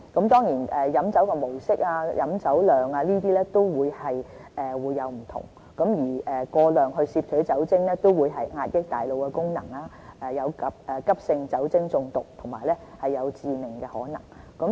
當然，不同人飲酒的模式和飲酒量會有不同，但是過量攝取酒精會壓抑大腦功能，有急性酒精中毒和致命的可能。